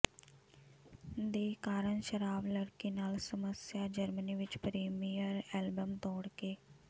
ਦੇ ਕਾਰਨ ਸ਼ਰਾਬ ਲੜਕੀ ਨਾਲ ਸਮੱਸਿਆ ਜਰਮਨੀ ਵਿਚ ਪ੍ਰੀਮੀਅਰ ਐਲਬਮ ਤੋੜਕੇ